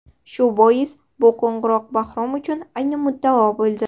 Shu bois, bu qo‘ng‘iroq Bahrom uchun ayni muddao bo‘ldi.